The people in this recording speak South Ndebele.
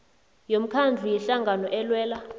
yomkhandlu yehlangano elwela